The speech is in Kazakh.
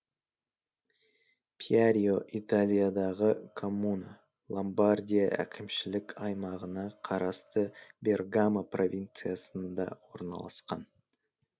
пьярио италиядағы коммуна ломбардия әкімшілік аймағына қарасты бергамо провинциясында орналасқан